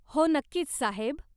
हो नक्कीच, साहेब.